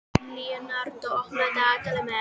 Leonardó, opnaðu dagatalið mitt.